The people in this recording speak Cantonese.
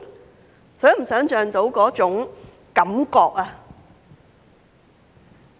能否想象那種感覺？